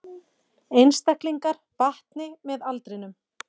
Einstaklingar batni með aldrinum